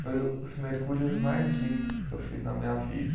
Foi os mergulhos mais lindos que eu fiz na minha vida.